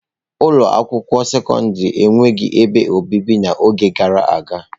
Ụlọ akwụkwọ sekọndrị enweghị ebe obibi n'oge gara aga.